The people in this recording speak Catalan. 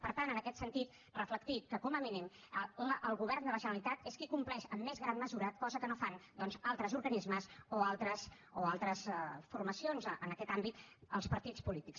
per tant en aquest sentit reflectir que com a mínim el govern de la generalitat és qui compleix amb més gran mesura cosa que no fan altres organismes o altres formacions en aquest àmbit els partits polítics